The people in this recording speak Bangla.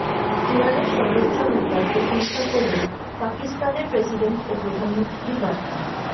ইরানের সর্বোচ্চ নেতার প্রশংসা করে পাকিস্তানের প্রেসিডেন্ট ও প্রধানমন্ত্রীর বার্তা